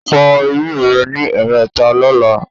Fọ eyín rẹ ní ẹ̀ẹ̀mẹta lọ́la